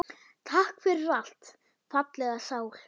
Takk fyrir allt, fallega sál.